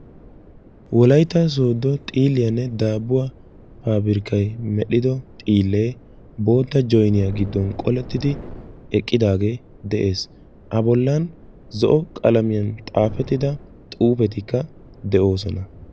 Wolaytta sodo xiiliyaanne daabuwaa pabirkkay medhdhido xiile bootta joyinniya giddon qooletidi eqqidaage de'ees; a bollan zo'o qalamiyaan xaafettida xuufetikka de'oosona.